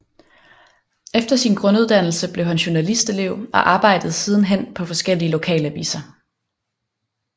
Efter sin grunduddannelse blev han journalistlelev og arbejdede siden hen på forskellige lokalaviser